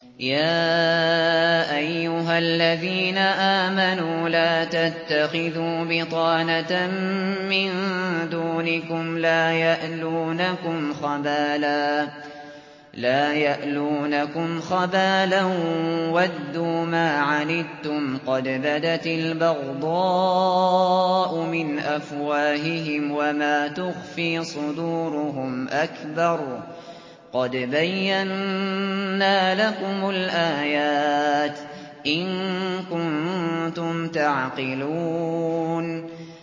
يَا أَيُّهَا الَّذِينَ آمَنُوا لَا تَتَّخِذُوا بِطَانَةً مِّن دُونِكُمْ لَا يَأْلُونَكُمْ خَبَالًا وَدُّوا مَا عَنِتُّمْ قَدْ بَدَتِ الْبَغْضَاءُ مِنْ أَفْوَاهِهِمْ وَمَا تُخْفِي صُدُورُهُمْ أَكْبَرُ ۚ قَدْ بَيَّنَّا لَكُمُ الْآيَاتِ ۖ إِن كُنتُمْ تَعْقِلُونَ